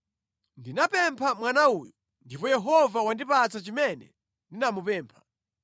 Ndinapempha mwana uyu, ndipo Yehova wandipatsa chimene ndinamupempha.